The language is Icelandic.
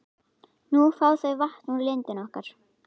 Nú fá þau vatn úr lindinni okkar.